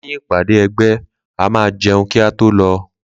Leyin ìpàdé ẹgbẹ́ a ma jeun kí a tó lọ